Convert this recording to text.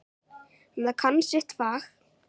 En það kann sitt fag.